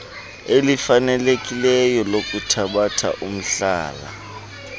elifanelekileyo lokuthabatha umhlala